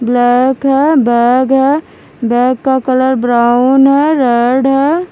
Black है bag है bag का कलर ब्राउन है रेड है।